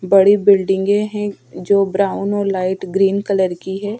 बड़ी बिल्डिंगे है जो ब्राउन और लाईट ग्रीन कलर की है.